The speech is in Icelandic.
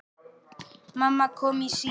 Mamma kom í símann.